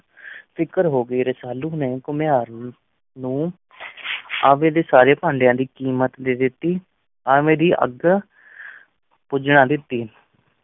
ਫ਼ਿਕਰ ਹੋ ਗਈ, ਰਸਾਲੂ ਨੇ ਘੁਮਿਆਰ ਨੂੰ ਆਵੇ ਦੇ ਸਾਰੇ ਭਾਂਡਿਆਂ ਦੀ ਕੀਮਤ ਦੇ ਦਿੱਤੀ, ਆਵੇ ਦੀ ਅੱਗ ਬੁਝਾ ਦਿੱਤੀ।